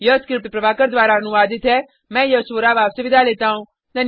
यह स्क्रिप्ट प्रभाकर द्वारा अनुवादित है मैं यश वोरा अब आपसे विदा लेता हूँ